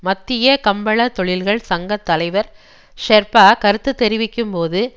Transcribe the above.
மத்திய கம்பளத் தொழில்கள் சங்க தலைபர் ஷெர்பா கருத்து தெரிவிக்கும்போது